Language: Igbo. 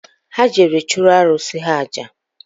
Ha jere chụrụ arụsị ha àjà